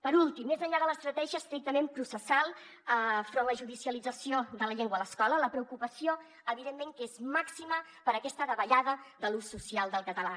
per últim més enllà de l’estratègia estrictament processal enfront de la judicialització de la llengua a l’escola la preocupació evidentment que és màxima per aquesta davallada de l’ús social del català